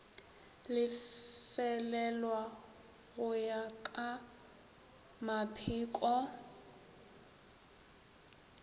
lefelelwa go ya ka mapheko